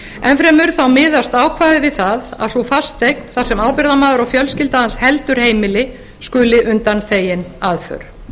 enn fremur miðast ákvæðið við það að sú fasteign þar sem ábyrgðarmaður og fjölskylda hans heldur heimili skuli undanþegin aðför